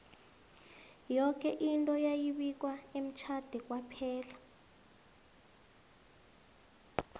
yoke into yayi bikwa emtjhade kwaphela